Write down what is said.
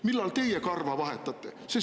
Millal teie karva vahetate?